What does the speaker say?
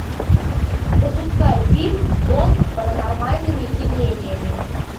запускай фильм дом с паранормальными явлениями